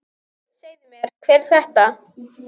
Segðu mér, hver er þetta?